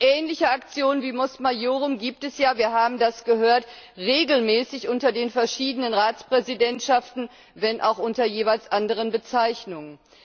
Ähnliche Aktionen wie Mos Maiorum gibt es ja, wir haben das gehört, regelmäßig unter den verschiedenen Ratspräsidentschaften, wenn auch unter jeweils anderen Bezeichnungen.